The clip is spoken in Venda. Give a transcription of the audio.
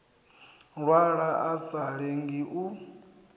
lwala a sa lenge u